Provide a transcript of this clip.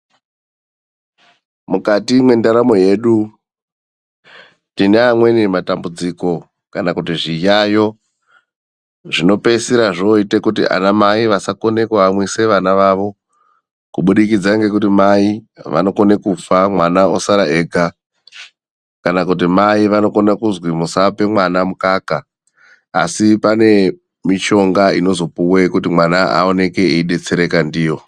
Mukati mwendaramo yedu tine amweni matambudziko kana kuti zviyayo zvinopeisira zvooite kuti ana mai vasakone kuamwisa vana vavo. Kubudikidza nekuti mai vanokone kufa mwana osara ega. Kana kuti mai vanokone kuzwi musape mwana mukaka. Asi pane mishonga inozopuwe kuti mwana aoneke eidetsereka ndiyo.